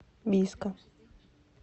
бийска